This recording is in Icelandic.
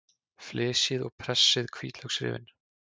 Flysjið og pressið hvítlauksrifin.